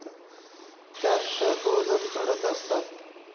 त्या तर रोजच घडत असतात.